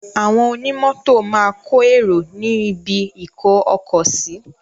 Àwọn ọnimọ́tò máa kọ èrò ní ibi-ìkó-ọkọ̀ sí.